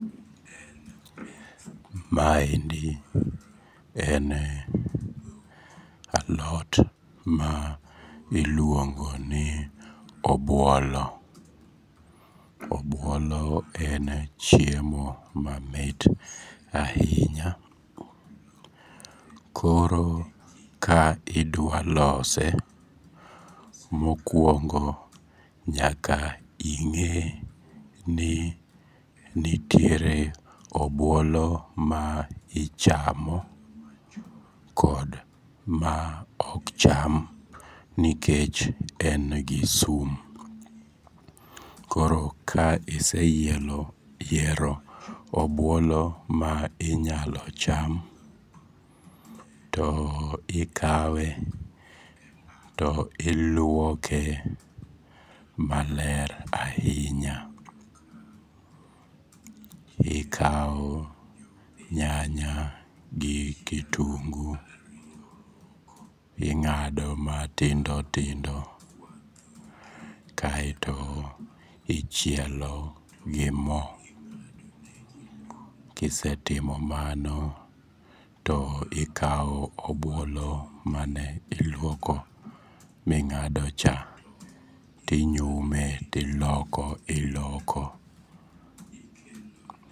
Ma endi en alot ma iluongoni obuolo. Obuolo en chiemo mamit ainya. Koro ka idwalose mokuongo nyaka ing'e ni nitiere obuolo ma ichamo kod ma okcham nikech en gi sum. Koro ka iseyiero obuolo ma inyalocham to ikawe to iluoke maler aiya. Ikao nyanya gi kitungu, ing'ado matindo tindo kae to ichielo gi moo, kisetimo mano to ikao obuolo mane iluoko ming'ado cha tinyume tiloko, iloko.